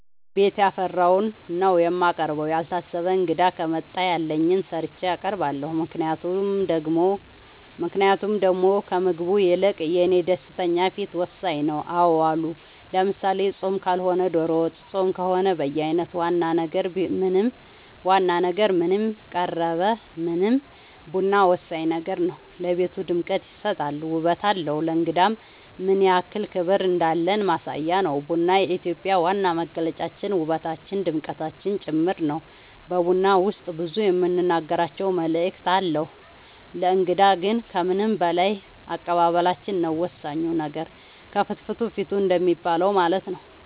ቤት ያፈራውን ነው የማቀርበው ያልታሰበ እንግዳ ከመጣ ያለኝን ሰርቼ አቀርባለሁ ምክንያቱም ደሞ ከምግቡ ይልቅ የኔ ደስተኛ ፊት ወሳኝ ነው አዎ አሉ ለምሳሌ ፆም ካልሆነ ዶሮ ወጥ ፆም ከሆነ በየአይነት ዋና ነገር ምንም ቀረበ ምንም ቡና ወሳኝ ነገር ነው ለቤቱ ድምቀት ይሰጣል ውበት አለው ለእንግዳም ምንያክል ክብር እንዳለን ማሳያ ነው ቡና የኢትዮጵያ ዋና መገለጫችን ውበታችን ድምቀታችን ጭምር ነው በቡና ውስጥ ብዙ የምንናገራቸው መልዕክት አለው ለእንግዳ ግን ከምንም በላይ አቀባበላችን ነው ወሳኙ ነገር ከፍትፍቱ ፊቱ እንደሚባለው ማለት ነው